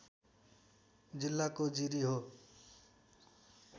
जिल्लाको जिरी हो